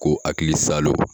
Ko hakili salo